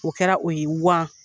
O kɛra o ye wan.